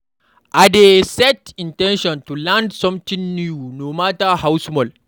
I dey set in ten tion to learn something new today, no matter how small.